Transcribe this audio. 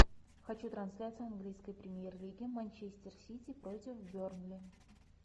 хочу трансляцию английской премьер лиги манчестер сити против бернли